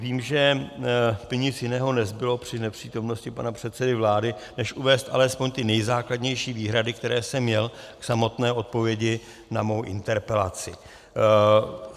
Vím, že by nic jiného nezbylo při nepřítomnosti pana předsedy vlády než uvést alespoň ty nejzákladnější výhrady, které jsem měl k samotné odpovědi na svou interpelaci.